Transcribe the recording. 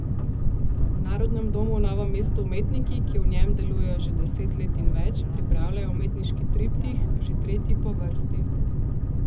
V Narodnem domu v Novem mestu umetniki, ki v njem delujejo že deset let in več, pripravljajo umetniški triptih, že tretji po vrsti.